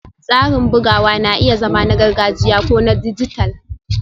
Tsarin bugawa na iya zama na gargajiya ko na dijital